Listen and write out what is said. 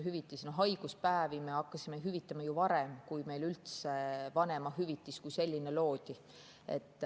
Haiguspäevi me hakkasime hüvitama ju varem, kui üldse vanemahüvitis kui selline loodi.